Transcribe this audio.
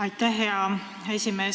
Aitäh, hea esimees!